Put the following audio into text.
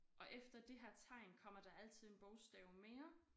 Og efter det her tegn kommer der altid en bogstav mere